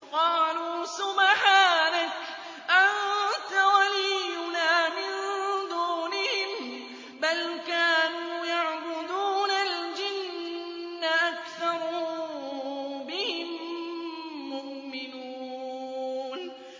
قَالُوا سُبْحَانَكَ أَنتَ وَلِيُّنَا مِن دُونِهِم ۖ بَلْ كَانُوا يَعْبُدُونَ الْجِنَّ ۖ أَكْثَرُهُم بِهِم مُّؤْمِنُونَ